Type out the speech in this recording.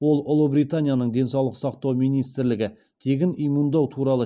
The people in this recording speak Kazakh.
ол ұлыбританияның денсаулық сақтау министрлігі тегін иммундау туралы